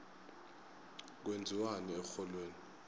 kwenziwani erholweni